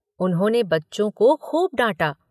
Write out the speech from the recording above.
उन्होंने बच्चों को खूब डांटा।